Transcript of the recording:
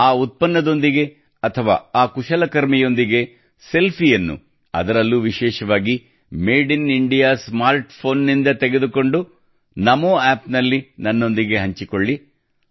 ಆ ಉತ್ಪನ್ನದೊಂದಿಗೆ ಅಥವಾ ಆ ಕುಶಲಕರ್ಮಿಯೊಂದಿಗೆ ಸೆಲ್ಫಿಯನ್ನು ಅದರಲ್ಲೂ ವಿಶೇಷವಾಗಿ ಮೇಡ್ ಇನ್ ಇಂಡಿಯಾ ಸ್ಮಾರ್ಟ್ ಫೋನ್ನಿಂದ ತೆಗೆದುಕೊಂಡು NamoApp ನಲ್ಲಿ ನನ್ನೊಂದಿಗೆ ಹಂಚಿಕೊಳ್ಳಿ